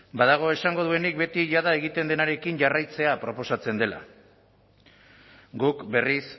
badago esango duenik beti jada egiten denarekin jarraitzea proposatzen dela guk berriz